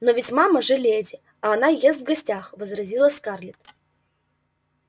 но ведь мама же леди а она ест в гостях возразила скарлетт